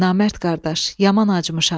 Namərd qardaş, yaman acımışam.